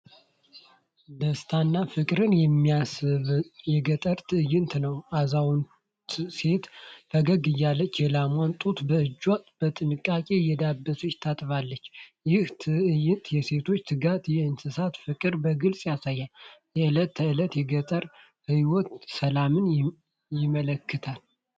ደስታና ፍቅር የሚሰማበት የገጠር ትዕይንት ነው! አዛውንት ሴት ፈገግ እያለች የላሟን ጡት በእጇ በጥንቃቄ እየዳበሰች ታጠባለች። ይህ ትዕይንት የሴቶችን ትጋትና የእንስሳትን ፍቅር በግልጽ ያሳያል፤ የዕለት ተዕለት የገጠርን ሕይወት ሰላም ያመለክታል።